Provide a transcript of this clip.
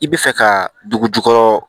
I bɛ fɛ ka dugu jukɔrɔ